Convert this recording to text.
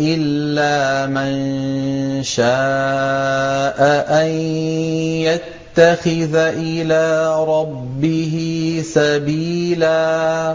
إِلَّا مَن شَاءَ أَن يَتَّخِذَ إِلَىٰ رَبِّهِ سَبِيلًا